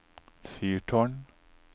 fyrtårn